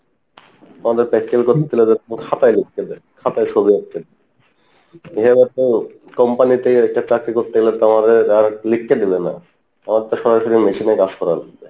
আমাদের practical খাতাই লিখতে দেই খাতাই ছবি আঁকতে এভাবে তো company তেই একটা চাকরি করতে গেলে তো আমাদের আর লিখতে দিবে না, আমাদের তো সরাসরি machine এ কাজ করা লাগবে